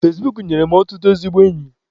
Fezbuk nyere m ọtụtụ ezigbo enyi.